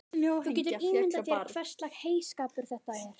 Þú getur ímyndað þér hverslags heyskapur þetta er.